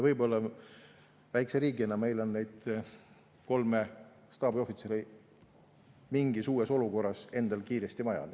Võib-olla väikese riigina oleks meil neid kolme staabiohvitseri mingis uues olukorras endal kiiresti vaja.